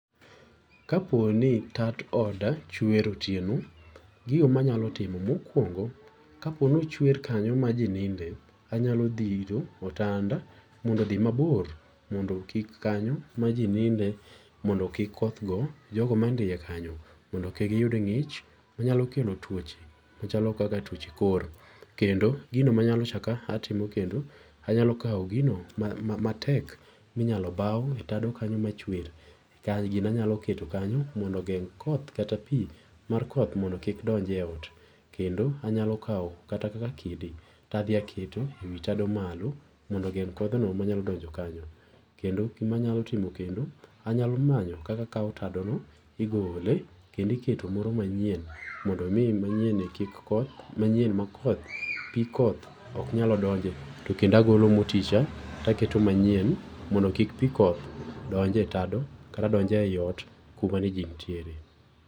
kaponi tat oda chwer otieno, gigo manyalo timo mokuongo kaponi ochwer kanyo ma jii ninde anyalo dhiro otanda mondo odhi mabor mondo kik kanyo ma jii ninde maondo kik koth go jogo manindo kanyo mondo kik giyud tuoche machalo kak atuoche kor. Kendo gino manyalo chak atimo kendo anyalo kao gino ma matek minyalo bao e tado kanyo machwer, gino anyalo keto kanyo mondo ogeng koth kata pii mondo kik donje ot, kendo anyalo kao kaka kidi to adhi a keto ewi tado malo mondo ogend kodhno manyalo donjo kanyo. kendo gima anyalo timo kendo anyalo manyo kaka akao tado no igole kendo iketo moro manyien mondo mi manyien ni kik koth, manyien ma koth pii koth ok nyal donje, kendo agolo motii cha taketo manyien mondo kik pii koth donj e tado kata donj e ot kama jii nenitie .